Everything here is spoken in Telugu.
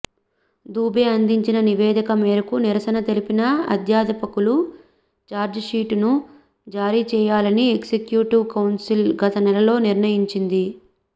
దూబే అందించిన నివేదిక మేరకు నిరసన తెలిపిన అధ్యాపకులకు చార్జీషీటును జారీ చేయాలని ఎగ్జిక్యూటివ్ కౌన్సిల్ గతనెలలో నిర్ణయించింది